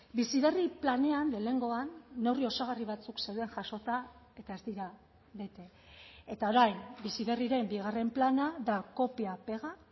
bizi berri planean lehenengoan neurri osagarri batzuk zeuden jasota eta ez dira bete eta orain bizi berriren bigarren plana da kopia pega